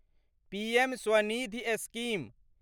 PM Swanidhi scheme